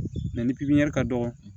ni ka dɔgɔ